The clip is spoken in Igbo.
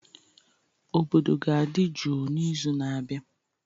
Obodo ga-adị jụụ n'izu na-abịa